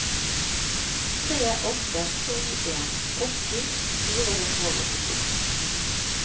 tre åtte to en åtti fire hundre og åttito